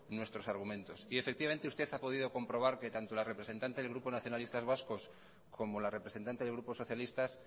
nuestros argumentos efectivamente usted ha podido comprobar que tanto la representante del grupo nacionalistas vascos como la representante del grupo socialistas